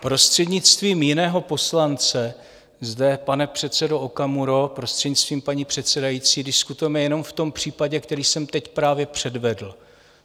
Prostřednictvím jiného poslance zde, pane předsedo Okamuro, prostřednictvím paní předsedající, diskutujeme jenom v tom případě, který jsem teď právě předvedl.